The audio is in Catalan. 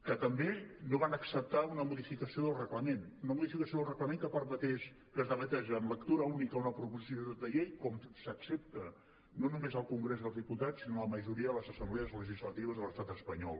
que tampoc no van acceptar una modificació del reglament una modificació del reglament que permetés que es debatés en lectura única una proposició de llei com s’accepta no només al congrés dels diputats sinó a la majoria de les assemblees legislatives de l’estat espanyol